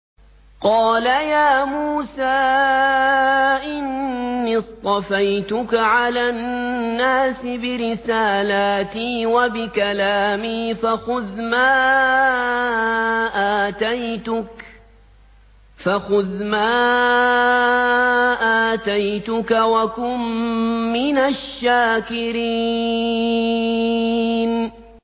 قَالَ يَا مُوسَىٰ إِنِّي اصْطَفَيْتُكَ عَلَى النَّاسِ بِرِسَالَاتِي وَبِكَلَامِي فَخُذْ مَا آتَيْتُكَ وَكُن مِّنَ الشَّاكِرِينَ